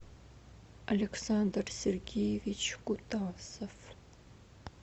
александр сергеевич кутасов